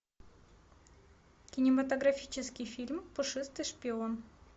кинематографический фильм пушистый шпион